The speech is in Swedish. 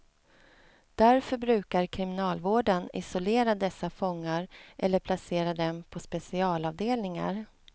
Därför brukar kriminalvården isolera dessa fångar eller placera dem på specialavdelningar.